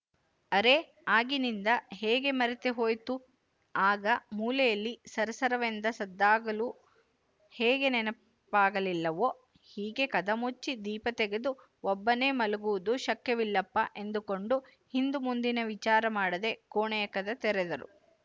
ಅರೆ ಆಗಿನಿಂದ ಹೇಗೆ ಮರತೇ ಹೋಯಿತೋ ಆಗ ಮೂಲೆಯಲ್ಲಿ ಸರಸರವೆಂದ ಸದ್ದಾಗಲೂ ಹೇಗೆ ನೆನಪಾಗಲಿಲ್ಲವೋ ಹೀಗೆ ಕದ ಮುಚ್ಚಿ ದೀಪ ತೆಗೆದು ಒಬ್ಬನೇ ಮಲಗುವುದು ಶಕ್ಯವಿಲ್ಲಪ್ಪ ಎಂದುಕೊಂಡು ಹಿಂದುಮುಂದಿನ ವಿಚಾರಮಾಡದೇ ಕೋಣೆಯ ಕದ ತೆರೆದರು